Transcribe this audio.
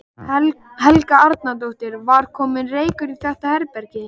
Helga Arnardóttir: Var kominn reykur inn í þetta herbergi?